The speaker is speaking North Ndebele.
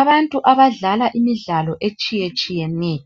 Abantu abadlala imidlalo etshiye tshiyeneyo